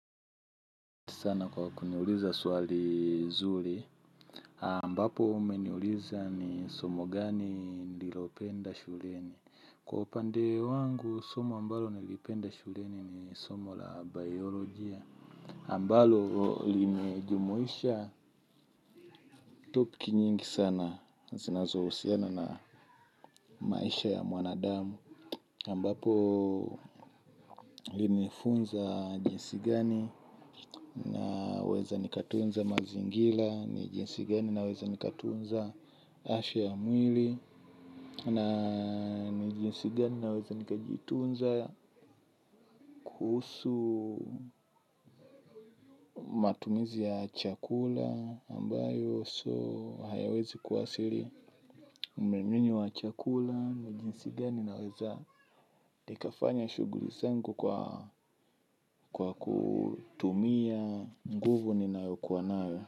Sana kwa kuniuliza swali zuri ambapo umeniuliza ni somo gani nililopenda shuleni kwa upande wangu somo ambalo nilipenda shuleni ni somo la bayoloji ambalo limejumuisha topiki nyingi sana zinazohusiana na maisha ya mwanadamu ambapo linifunza jinsi gani na weza nikatunza mazingira. Nijinsi gani naweza nikatunza ashe ya mwili na nijinsigani naweza nikajitunza husu matumizi ya chakula ambayo so hayawezi kuwasili mremini wa chakula. Nijinsigani naweza nikafanya shughuli zangu kwa kwa kutumia nguvu ninayokua nayo.